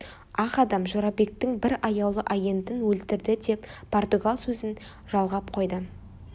ақ адам жорабектің бір аяулы агентін өлтірді деп португал сөзін жалғап қойды